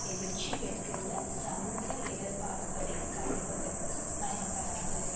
எழுச்சி பெற்றுள்ள சமூக இடர்பாடுகளைக் களைவதற்கு பயன்படாது